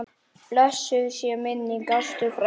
Blessuð sé minning Ástu frænku.